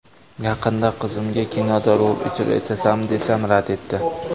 Yaqinda qizimga kinoda rol ijro etasanmi, desam, rad etdi.